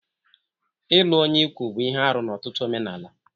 Ịlụ onye ikwu bụ ihe arụ n'ọtụtụ omenala.